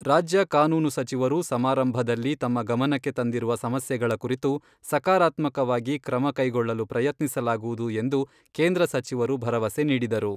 ರಾಜ್ಯ ಕಾನೂನು ಸಚಿವರು ಸಮಾರಂಭದಲ್ಲಿ ತಮ್ಮ ಗಮನಕ್ಕೆ ತಂದಿರುವ ಸಮಸ್ಯೆಗಳ ಕುರಿತು ಸಕಾರಾತ್ಮಕವಾಗಿ ಕ್ರಮ ಕೈಗೊಳ್ಳಲು ಪ್ರಯತ್ನಿಸಲಾಗುವುದು ಎಂದು ಕೇಂದ್ರ ಸಚಿವರು ಭರವಸೆ ನೀಡಿದರು.